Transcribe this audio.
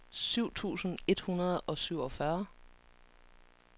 syv tusind et hundrede og syvogfyrre